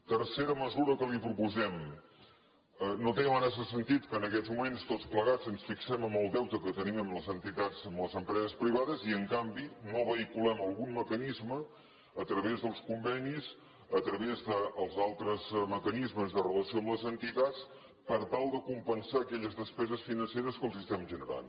tercera mesura que li proposem no té massa sentit que en aquests moments tots plegats ens fixem en el deute que tenim amb les entitats amb les empreses privades i en canvi no vehiculem algun mecanisme a través dels convenis a través dels altres mecanismes de relació amb les entitats per tal de compensar aquelles despeses financeres que els estem generant